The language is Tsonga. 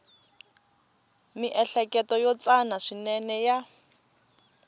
miehleketo yo tsana swinene ya